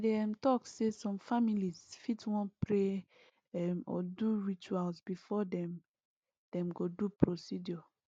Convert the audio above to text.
i dey um talk say some families fit wan pray um or do rituals before dem dem go do procedure